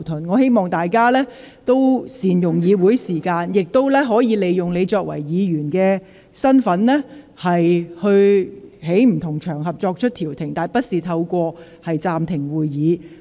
我希望大家能夠善用會議時間，個別議員亦可以其議員身份在不同場合調停社會紛爭，但不應要求暫停會議。